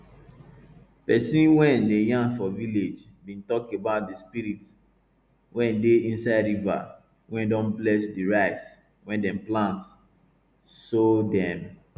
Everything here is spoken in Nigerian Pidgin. person wey dey yarn for village bin tok about di spirit wey dey inside river wey don bless di rice wey dem plant so dem